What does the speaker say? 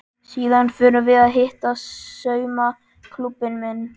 Síðan förum við að hitta saumaklúbbinn minn.